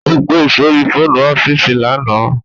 Ó pe sórí fóònù ọ́fíìsì lánàá